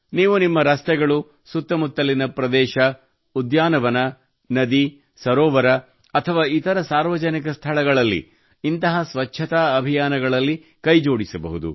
ನೀವು ನಿಮ್ಮ ರಸ್ತೆಗಳು ಸುತ್ತ ಮುತ್ತಲಿನ ಪ್ರದೇಶ ಉದ್ಯಾನವನ ನದಿ ಸರೋವರ ಅಥವಾ ಇತರ ಸಾರ್ವಜನಿಕ ಸ್ಥಳಗಳಲ್ಲಿ ಇಂತಹ ಸ್ವಚ್ಛತಾ ಅಭಿಯಾನಗಳಲ್ಲಿ ಕೈ ಜೋಡಿಸಬಹುದು